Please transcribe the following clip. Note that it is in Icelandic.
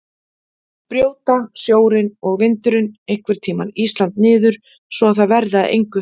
Brjóta sjórinn og vindurinn einhvern tímann Ísland niður svo að það verði að engu?